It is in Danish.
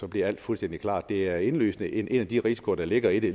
bliver alt fuldstændig klart det er indlysende en af de risikoer der ligger i det